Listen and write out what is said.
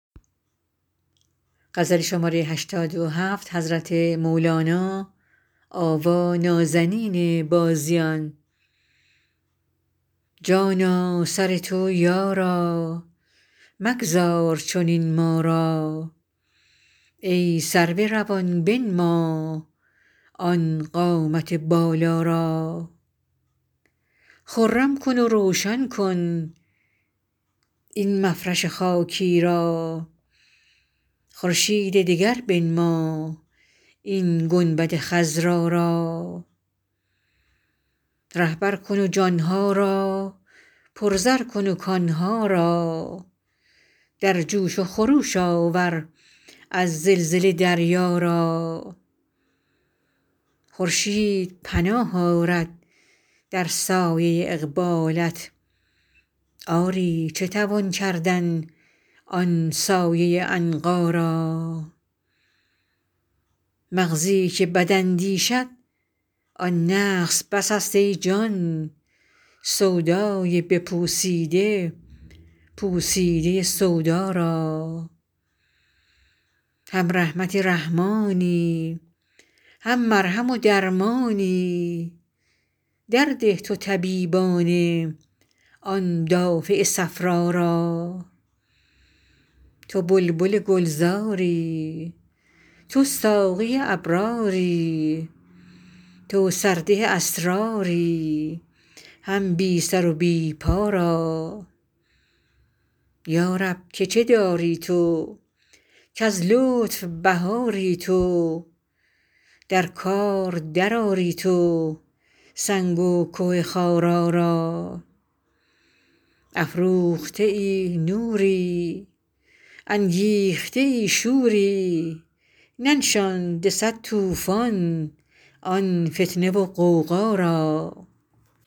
جانا سر تو یارا مگذار چنین ما را ای سرو روان بنما آن قامت بالا را خرم کن و روشن کن این مفرش خاکی را خورشید دگر بنما این گنبد خضرا را رهبر کن جان ها را پرزر کن کان ها را در جوش و خروش آور از زلزله دریا را خورشید پناه آرد در سایه اقبالت آری چه توان کردن آن سایه عنقا را مغزی که بد اندیشد آن نقص بسست ای جان سودای بپوسیده پوسیده سودا را هم رحمت رحمانی هم مرهم و درمانی درده تو طبیبانه آن دافع صفرا را تو بلبل گلزاری تو ساقی ابراری تو سرده اسراری هم بی سر و بی پا را یا رب که چه داری تو کز لطف بهاری تو در کار درآری تو سنگ و که خارا را افروخته نوری انگیخته شوری ننشاند صد طوفان آن فتنه و غوغا را